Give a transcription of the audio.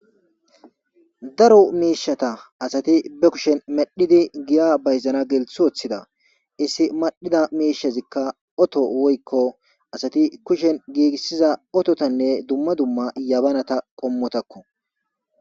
Darro mishata asati be kusheni medhidi giya bayizanawu gelis wothida iss medhida mishezika otto woyiko asati kusheni gigisiza ottatane duma duma yabanata qomotako